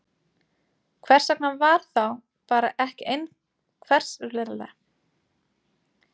Hvers vegna var það þá bara ekki einfaldlega gert?